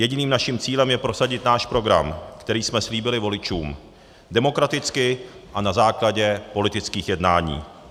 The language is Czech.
Jediným naším cílem je prosadit náš program, který jsme slíbili voličům, demokraticky a na základě politických jednání.